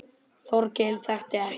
Þórkell þekkti ekki.